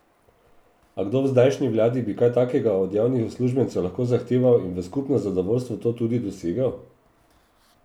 A kdo v zdajšnji vladi bi kaj takega od javnih uslužbencev lahko zahteval in v skupno zadovoljstvo to tudi dosegel?